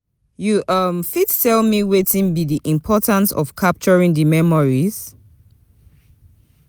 You um fit tell me wetin be di importance of capturing di memories?